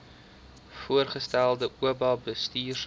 voorgestelde oba bestuursraad